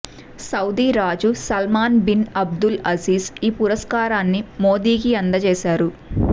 Saudi రాజు Salman bin Abdul Aziz ఈ పురస్కారాన్ని మోదీకి అందజేశారు